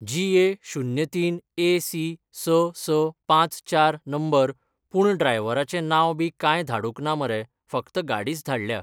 जी ए शुन्य तीन ए सी स स पांच चार नंबर पूण ड्रायव्हराचें नांव बी कांय धाडूंक ना मरे फक्त गाडीच धाडल्या